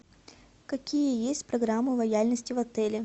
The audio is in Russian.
какие есть программы лояльности в отеле